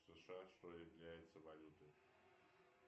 сша что является валютой